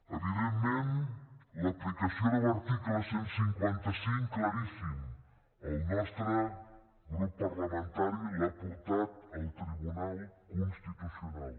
evidentment l’aplicació de l’article cent i cinquanta cinc claríssim el nostre grup parlamentari l’ha portat al tribunal constitucional